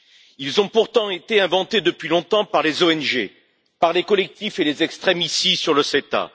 Ils ont pourtant été inventés depuis longtemps par les ONG, les collectifs et les extrêmes, ici, sur le CETA.